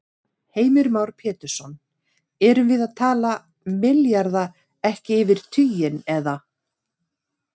Heimir Már Pétursson: Erum við að tala milljarða, ekki yfir tuginn, eða?